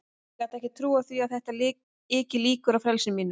Ég gat ekki trúað því að þetta yki líkur á frelsi mínu.